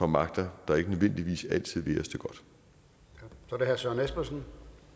magter der ikke nødvendigvis altid vil os det godt